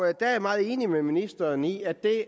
er jeg meget enig med ministeren i at det